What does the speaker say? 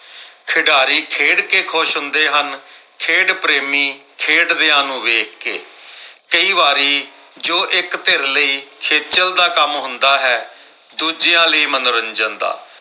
ਖਿਡਾਰੀ ਖੇਡ ਕਿ ਖੁਸ਼ ਹੁੰਦੇ ਹਨ ਖੇਡ ਪ੍ਰੇਮੀ ਖੇਡਦਿਆਂ ਨੂੰ ਵੇਖ ਕੇ ਕਈ ਵਾਰੀ ਜੋ ਇੱਕ ਧਿਰ ਲਈ ਖੇਚਲ ਦਾ ਕੰਮ ਹੁੰਦਾ ਹੈ ਦੂਜਿਆਂ ਲਈ ਮਨੋਰੰਜਨ ਦਾ